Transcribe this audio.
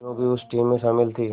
मीनू भी उस टीम में शामिल थी